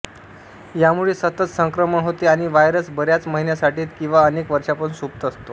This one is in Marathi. यामुळे सतत संक्रमण होते आणि व्हायरस बऱ्याच महिन्यांसाठीत किंवा अनेक वर्षांपासून सुप्त असतो